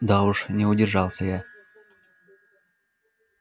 да уж не удержался я